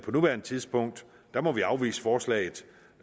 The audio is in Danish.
nuværende tidspunkt må vi afvise forslaget